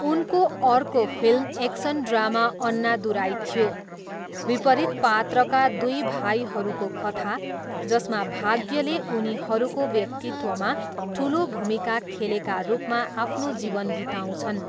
उनको अर्को film action drama Annadurai थियो, विपरीत पात्रका दुई भाइहरूको कथा जसमा भाग्यले उनीहरूको व्यक्तित्वमा ठुलो भूमिका खेलेका रूपमा आफ्नो जीवन बिताउँछन्।